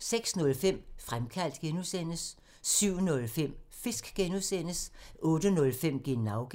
06:05: Fremkaldt (G) 07:05: Fisk (G) 08:05: Genau (G)